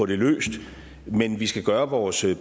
det løst men vi skal gøre vores